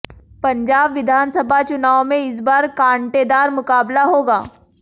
पंजाब विधानसभा चुनाव में इस बार कांटेदार मुकाबला होगा